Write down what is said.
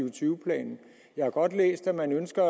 og tyve planen jeg har godt læst at man ønsker